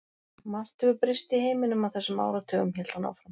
Margt hefur breyst í heiminum á þessum áratugum hélt hann áfram.